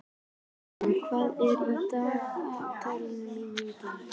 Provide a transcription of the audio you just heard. Fránn, hvað er í dagatalinu mínu í dag?